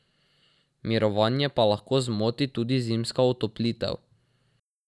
Mirovanje pa lahko zmoti tudi zimska otoplitev.